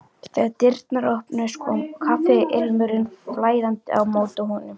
Þegar dyrnar opnuðust kom kaffiilmurinn flæðandi á móti honum.